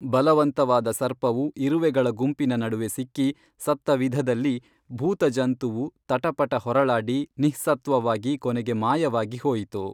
ಬಲವಂತವಾದ ಸರ್ಪವು ಇರುವೆಗಳ ಗುಂಪಿನ ನಡುವೆ ಸಿಕ್ಕಿ ಸತ್ತವಿಧದಲ್ಲಿ ಭೂತಜಂತುವು ತಟಪಟ ಹೊರಳಾಡಿ ನಿಃಸತ್ವವಾಗಿ ಕೊನೆಗೆ ಮಾಯವಾಗಿ ಹೋಯಿತು